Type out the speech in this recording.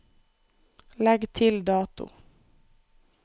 Legg til dato